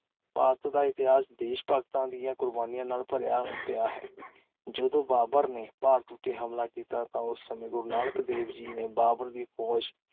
ਭਾਰਤ ਦਾ ਇਤਿਹਾਸ ਦੇਸ਼ ਭਗਤਾਂ ਦੀਆਂ ਕੁਰਬਾਨੀਆਂ ਨਾਲ ਭਰਿਆ ਪਿਆ ਹੈ । ਜਦੋਂ ਬਾਬਰ ਨੇ ਭਾਰਤ ਉੱਤੇ ਹਮਲਾ ਕੀਤਾ ਤਾਂ ਉਸ ਸਮੇਂ ਗੁਰੂ ਨਾਨਕ ਦੇਵ ਜੀ ਨੇ ਬਾਬਰ ਦੀ ਫ਼ੌਜ